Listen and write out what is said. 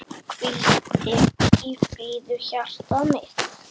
Hvíldu í friði hjartað mitt.